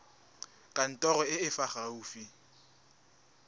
kantorong e e fa gaufi